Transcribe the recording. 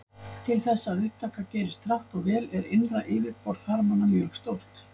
Til þess að upptaka gerist hratt og vel er innra yfirborð þarmanna mjög stórt.